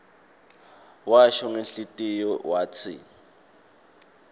washo ngenhlitiyo watsi